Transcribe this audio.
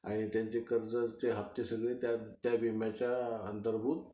आणि त्यांच्या कर्जाचे हफ्ते सगळे त्या विम्याच्या अंतर्भूत